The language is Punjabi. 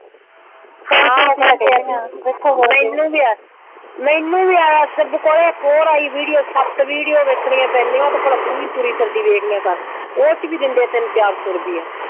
ਹਾਂ ਮੈਨੂੰ ਵੀ ਆਇਆ। ਮੈਨੂੰ ਵੀ ਆਇਆ ਸ਼ੁਭ ਕੋਲ਼ੇ ਇੱਕ ਹੋਰ ਆਈ ਵੀਡਿਓ। ਸੱਤ ਵੀਡੀਓ ਵੇਖਣੀਆਂ ਪੈਂਦੀਆਂ। ਉਹ ਤਾਂ ਭਲਾਂ ਤੂੰ ਵੀ ਤੁਰੀ ਫਿਰਦੀ ਵੇਖ ਲਿਆ ਕਰ। ਉਹ ਚ ਵੀ ਦਿੰਦੇ ਆ ਤਿੰਨ ਚਾਰ ਸੌ ਰੁਪਈਆ।